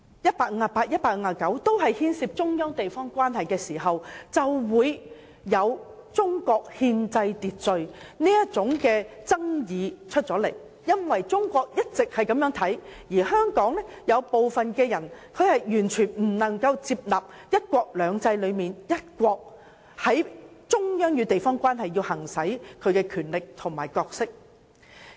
這就是為何會出現這種關乎中國憲制秩序的爭議，因為中國的看法一直如此，但香港有部分人卻完全無法接納"一國兩制"中的"一國"，故中央在其與地方的關係上要行使其權力和角色。